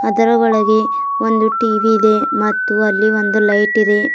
ಅದರ ಒಳಗೆ ಒಂದು ಟಿ_ವಿ ಇದೆ ಮತ್ತು ಅಲ್ಲಿ ಒಂದು ಲೈಟ್ ಇದೆ.